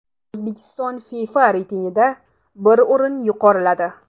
O‘zbekiston FIFA reytingida bir o‘rin yuqoriladi.